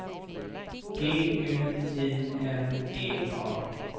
G U I N E A